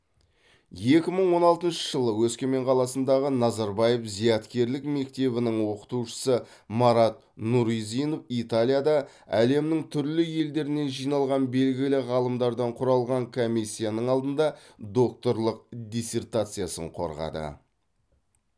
екі мың он алтыншы жылы өскемен қаласындағы назарбаев зияткерлік мектебінің оқытушысы марат нұризинов италияда әлемнің түрлі елдерінен жиналған белгілі ғалымдардан құралған комиссияның алдында докторлық диссертациясын қорғады